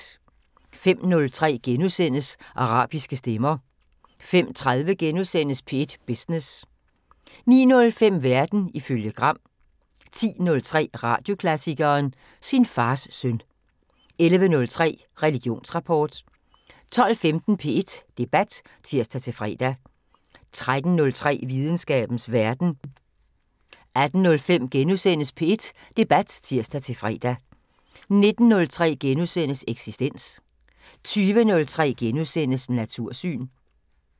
05:03: Arabiske stemmer * 05:30: P1 Business * 09:05: Verden ifølge Gram 10:03: Radioklassikeren: Sin fars søn 11:03: Religionsrapport 12:15: P1 Debat (tir-fre) 13:03: Videnskabens Verden 18:05: P1 Debat *(tir-fre) 19:03: Eksistens * 20:03: Natursyn *